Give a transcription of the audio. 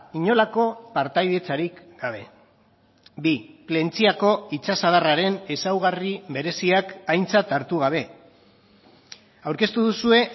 inolako partaidetzarik gabe bi plentziako itsasadarraren ezaugarri bereziak aintzat hartu gabe aurkeztu duzue